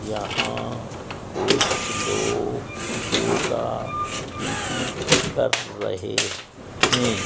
यहां कुछ लोग योगा पी_टी कर रहे है।